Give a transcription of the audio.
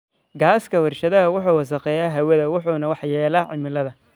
Gaaska warshadaha wuxuu wasakheeyaa hawada wuxuuna waxyeellaa cimilada.